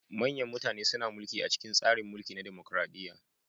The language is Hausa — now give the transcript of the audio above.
Manyan mutane suna mulki a cikin tsarin mulki na dimokuradiyya.